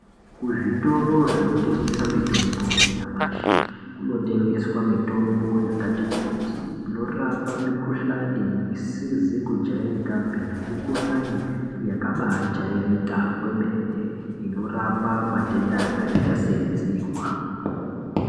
Kuzvitoro zvinotengesa mitombo yanyamashi kunotengeswa mitombo yakati kuti inorapa mikhuhlani isizi kujairikapi nemikhuhlani yakabaajairika kwemene inorapa matenda akaita seedzihwa.